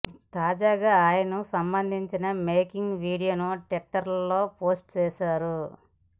తాజాగా ఆయనకు సంబంధించిన మేకింగ్ వీడియోను ట్వీట్టర్ లో పోస్ట్ చేశారు